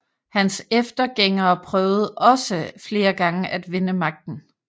Hans eftergængere prøvede også flere gange at vinde magten